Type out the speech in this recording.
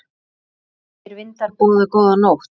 Ómþýðir vindar boða góða nótt.